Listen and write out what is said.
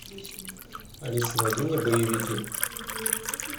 алиса найди мне боевики